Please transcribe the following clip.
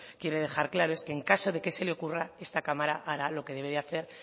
quiere dejar claro es que en caso de que se le ocurra esta cámara hará lo que debe hacer